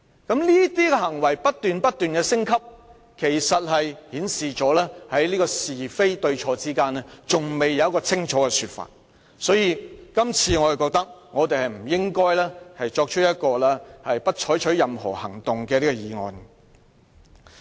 他的行為不斷升級，顯示出他在是非對錯之間尚未給予清楚的說法，所以我認為大家這次不應支持這項"不得就譴責議案再採取任何行動"的議案。